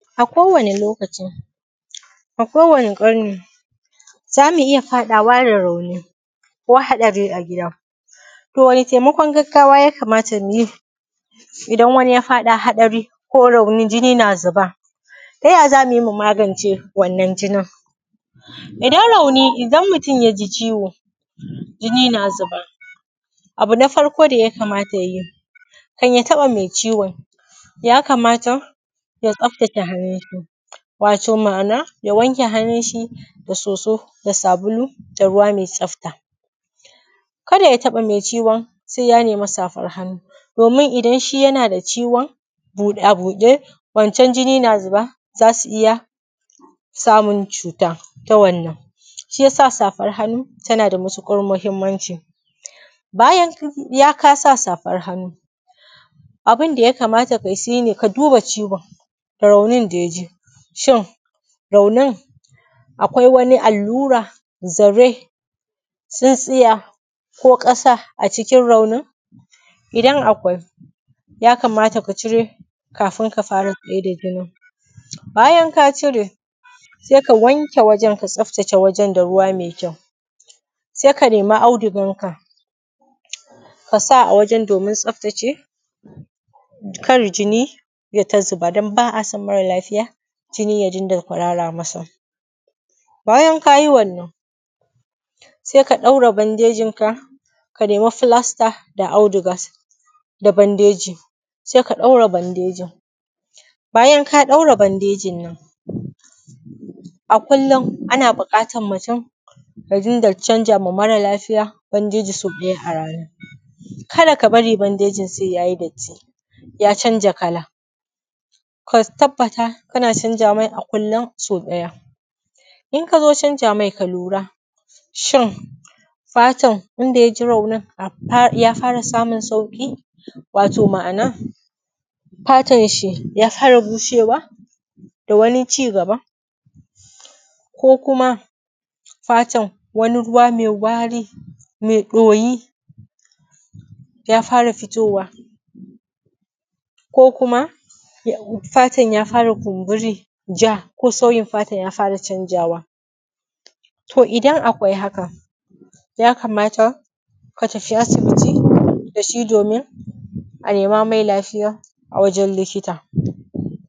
A kowane lokaci, a kowane ƙarni zamu iya faɗawa da rauni ko haɗari a gida. To wane taimakon gaggawa ya kamata mu yi idan wani ya faɗa haɗari, ko rauni, jini na zuba? Ta ya za mu yi mu magance wannan jinin idan mutum ya ji ciwo jini na zuba? Abu na farko da ya kamata ya yi kan ya taɓa mai ciwon, ya kamata ya tsaftace hannun shi wato ma'ana ya wanke hannun shi da soso da sabulu da ruwa mai tsafta. Kada ya taɓa mai ciwon sai ya nema safar hannu domin idan shi yana da ciwon buɗa a buɗe wancan jini na zuba za su iya samun cuta ta wannan, shi ya sa safar hannu ta na da matuƙar muhimmanci. Bayan ka sa safar hannu, abun da ya kamata ka yi shi ne ka duba ciwon raunin da ya ji shin raunin akwai wani allura, zare, tsintsiya, ko ƙasa a cikin raunin, idan akwai ya kamata ka cire kafin ka fara tsaida jinin. Bayan ka cire sai ka wanke wajan ka tsaftace wajan da ruwa mai kyau sai ka nema audigan ka, ka sa a wajan domin tsaftace kar jini yai ta zuba don ba a son mara lafiya jini ya dinga kurara masa. Bayan ka yi wannan sai ka ɗaure bandejinka ka nema flasta da audiga da bandeji sai ka ɗaure bandejin. Bayan ka ɗaure bandejin nan a kullum ana buƙatan mutum ya dinga canza ma mara lafiya bandeji sau biyar a rana kada ka bari bandeji sai ya yi datti ya canja kala. Ka tabbata kana canza mai a kullum sau ɗaya, in ka zo canza mai ka lura shin fatan inda ya ji raunin ya fara samun sauki, wato ma'ana fatan shi ya fara bushewa da wani cigaban, ko kuma fatan wani ruwa mai wari mai doyi ya fara fitowa ko kuma fatan ya fara kumburi, ja, ko sauyin fatan ya fara canjawa. To idan akwai haka, ya kamata ka tafi asibiti da shi domin a nema mai lafiya a wajan likita.